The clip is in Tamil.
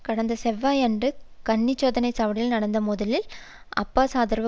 கடந்த செவ்வாயன்று கர்னி சோதனை சாவடியில் நடந்த மோதலில் அப்பாஸ்ஆதரவு